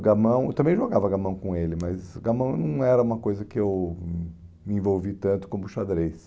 gamão... Eu também jogava gamão com ele, mas gamão não era uma coisa que eu hum me envolvi tanto como xadrez.